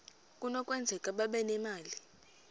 kunokwenzeka babe nemali